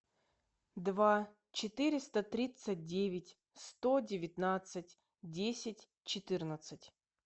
два четыреста тридцать девять сто девятнадцать десять четырнадцать